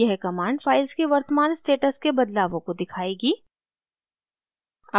यह command files के वर्तमान status के बदलावों को दिखाएगी